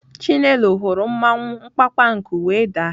Chinelo hụrụ mmawụ mkpamkpanku wee daa.